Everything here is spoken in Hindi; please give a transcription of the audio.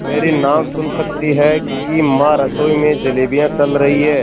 मेरी नाक सुन सकती है कि माँ रसोई में जलेबियाँ तल रही हैं